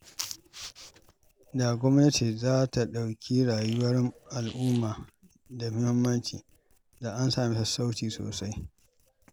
Da gwamnati za ta ɗauki rayuwar al'umma da muhimmanci, da an sami sassauci sosai.